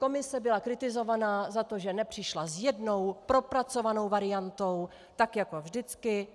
Komise byla kritizovaná za to, že nepřišla s jednou propracovanou variantou tak jako vždycky.